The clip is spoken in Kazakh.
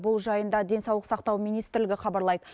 бұл жайында денсаулық сақтау министрлігі хабарлайды